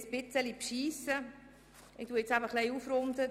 Jetzt muss ich ein bisschen schummeln und aufrunden.